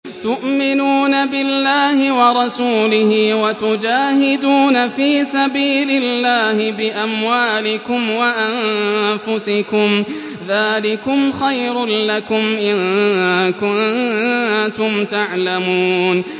تُؤْمِنُونَ بِاللَّهِ وَرَسُولِهِ وَتُجَاهِدُونَ فِي سَبِيلِ اللَّهِ بِأَمْوَالِكُمْ وَأَنفُسِكُمْ ۚ ذَٰلِكُمْ خَيْرٌ لَّكُمْ إِن كُنتُمْ تَعْلَمُونَ